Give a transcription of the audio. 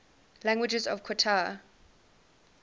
languages of qatar